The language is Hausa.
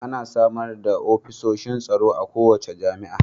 Ana samar da ofishin tsaro a kowace jami'a